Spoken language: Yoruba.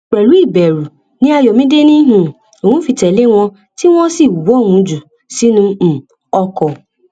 pẹlú ìbẹrù ní ayọmídé ni um òun fi tẹlé wọn tí wọn sì wọ òun jù sínú um ọkọ